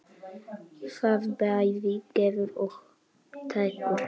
Það bæði gefur og tekur.